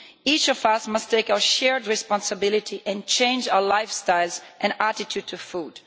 Each of us must take our shared responsibility and change our lifestyles and attitude to food.